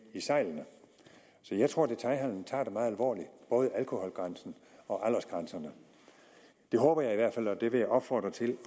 i sejlene så jeg tror at detailhandelen tager det meget alvorligt både alkoholgrænsen og aldersgrænserne det håber jeg i hvert fald og det vil jeg opfordre til